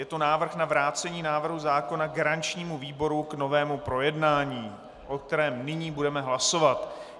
Je to návrh na vrácení návrhu zákona garančnímu výboru k novému projednání, o kterém nyní budeme hlasovat.